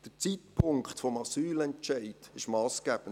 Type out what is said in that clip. Der Zeitpunkt des Asylentscheids ist massgebend.